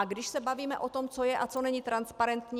A když se bavíme o tom, co je a co není transparentní.